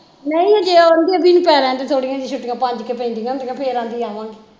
ਨਹੀਂ ਹਜੇ ਉਹ ਆਂਦੇ ਬਈ ਪੈ ਲੈਣ ਦਏ ਥੋੜੀਆਂ ਛੁੱਟੀਆਂ ਪੰਜ ਕਿ ਪੈਂਦੀਆਂ ਹੁੰਦੀਆਂ ਫਿਰ ਆਂਦੀ ਆਵਾਂਗੀ